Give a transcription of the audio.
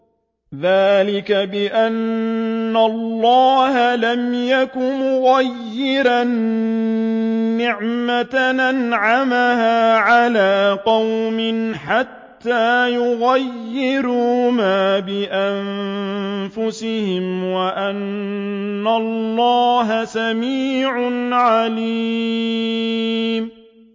ذَٰلِكَ بِأَنَّ اللَّهَ لَمْ يَكُ مُغَيِّرًا نِّعْمَةً أَنْعَمَهَا عَلَىٰ قَوْمٍ حَتَّىٰ يُغَيِّرُوا مَا بِأَنفُسِهِمْ ۙ وَأَنَّ اللَّهَ سَمِيعٌ عَلِيمٌ